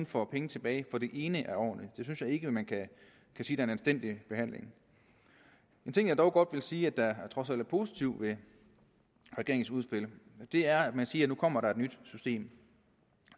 får penge tilbage for det ene af årene det synes jeg ikke man kan sige er en anstændig behandling en ting jeg dog godt vil sige der trods alt er positiv ved regeringens udspil er at man siger nu kommer et nyt system